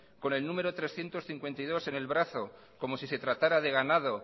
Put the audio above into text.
con el número trescientos cincuenta y dos en el brazo como si se tratara de ganado